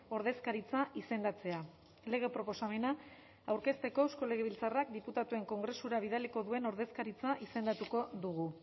ordezkaritza izendatzea lege proposamena aurkezteko eusko legebiltzarrak diputatuen kongresura bidaliko duen ordezkaritza izendatuko dugu